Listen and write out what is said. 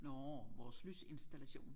Nårh vores lysinstallation